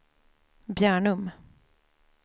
Bjärnum